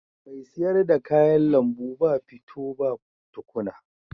Mai sayar da kayan lambu ba fito ba tukuna.